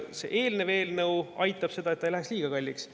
See eelnev eelnõu aitab, et ei läheks liiga kalliks.